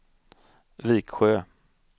Viksjö